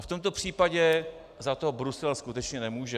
A v tomto případě za to Brusel skutečně nemůže.